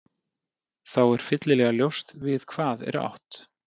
Þá er fyllilega ljóst við hvað er átt.